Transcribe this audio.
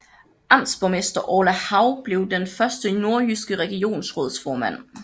Amtsborgmester Orla Hav blev den første nordjyske regionsrådsformand